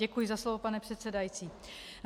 Děkuji za slovo, pane předsedající.